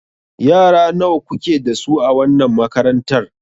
Yara nawa kuke da su a wannan makarantar?